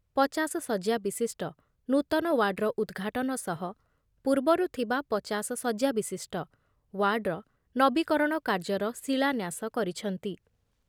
ପଚାଶ ଶଯ୍ୟା ବିଶିଷ୍ଟ ନୂତନ ୱାର୍ଡ଼ର ଉଦ୍‌ଘାଟନ ସହ ପୂର୍ବରୁ ଥିବା ପଚାଶ ଶଯ୍ୟାବିଶିଷ୍ଟ ୱାର୍ଡ଼ର ନବୀକରଣ କାର୍ଯ୍ୟର ଶିଳାନ୍ୟାସ କରିଛନ୍ତି ।